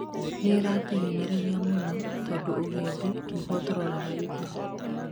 nĩratuhinyĩrĩria mũno tondũ ũgendi nĩguo turoraga igũrũ